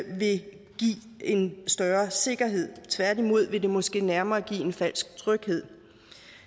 vil give en større sikkerhed tværtimod vil det måske nærmere give en falsk tryghed